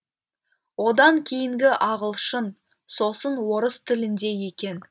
одан кейінгі ағылшын сосын орыс тілінде екен